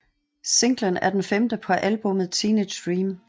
Singlen er den femte på albummet Teenage Dream